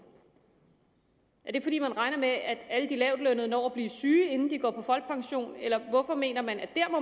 er det fordi man regner med at alle de lavtlønnede når at blive syge inden de går på folkepension eller hvorfor mener man at